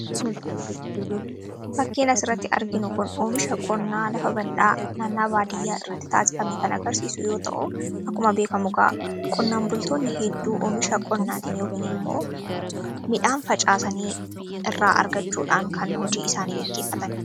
Fakkiin asirratti arginu kun oomisha qonnaa lafa bal'aa baadiyyaa irratti taasifame kan agarsiisu yoo ta'u, akkuma beeka mukaa qonnaan bultoonni hedduu oomisha qonnaatiin yookaan immoo midhaan facaasanii irraa argachuudhaan kan hojii isaanii gaggeessanidha.